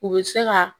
U bɛ se ka